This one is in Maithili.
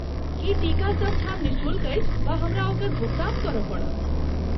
की टीका सभ ठाम निःशुल्क अछि वा हमरा ओकर भुगतान करय पड़त?